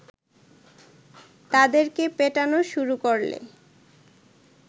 তাদেরকে পেটানো শুরু করলে